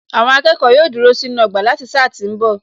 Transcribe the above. Àwọn akẹ́kọ̀ọ́ yóò dúró sínú ọgbà láti sáà tí ń bọ̀